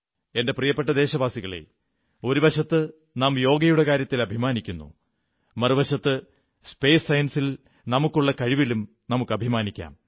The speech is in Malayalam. എന്റെ പ്രിയപ്പെട്ട ദേശവാസികളേ ഒരു വശത്ത് നാം യോഗയുടെ കാര്യത്തിൽ അഭിമാനിക്കുന്നു മറുവശത്ത് സ്പേസ് സയൻസിൽ നമുക്കുള്ള കഴിവിലും നമുക്കഭിമാനിക്കാം